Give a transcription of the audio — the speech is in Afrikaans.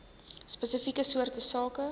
spesifieke soorte sake